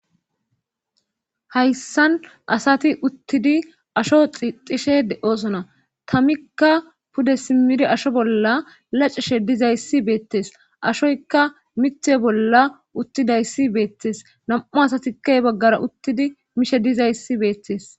Hayssan asati uttidi asho ixishe de7osona tamikka pude simiri asho bolla lacishe dizayssi beettes ashoykka mite bolla uttidayssi beettes nam7u asatikkay baggara uttidi mishe dizayssi beettes.